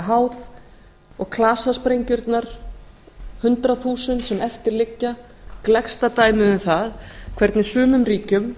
háð og klasasprengjurnar hundrað þúsund sem eftir liggja gleggsta dæmið um það hvernig sumum ríkjum